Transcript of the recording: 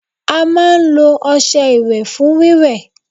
a máa n lo ọṣẹ iwe fún wíwẹ́